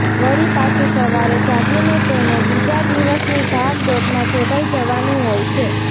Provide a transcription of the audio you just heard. વળી પાછું સવારે જાગીને તેને બીજા દિવસની ભાગદોડમાં જોડાઈ જવાનું હોય છે